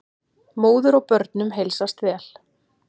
Móður og börnum heilsast vel.